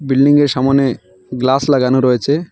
বিল্ডিংয়ের সামোনে গ্লাস লাগানো রয়েছে।